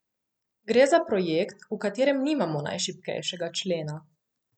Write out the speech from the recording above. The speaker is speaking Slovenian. Gre za projekt, v katerem nimamo najšibkejšega člena.